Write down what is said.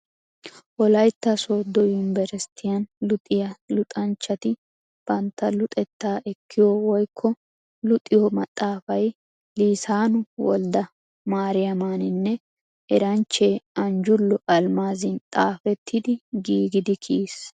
Wolaytta sooddo yunbberesttiyan luxiya luxanchchati bantta luxettaa ekkiyo woykko luxiyo maxaafay Liisaanu Woldda Maariyamaaninne eranchche Anjjullo Almmaazin xaafettidi giigidi kiyiis.